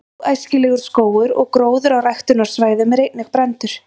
„óæskilegur“ skógur og gróður á ræktunarsvæðum er einnig brenndur